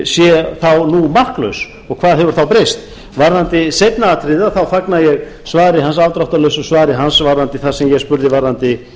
sé þá nú marklaus og hvað hefur þá breyst varðandi seinna atriðið þá fagna ég svari hans afdráttarlausu svari hans varðandi það sem ég spurði varðandi